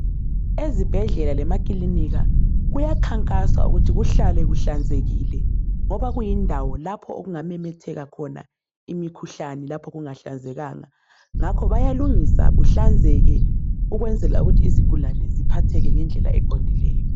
Ezibhedlela lemakilinika, kuyakhankaswa ukuthi kuhlale kuhlanzekile, ngoba kuyindawo lapho okungamemetheka khona imkhuhlane, lapho kungahlanzekanga. Ngakho bayalungisa kuhlanzeke, ukwenzela ukuthi izigulane ziphatheke ngendlela eqondileyo.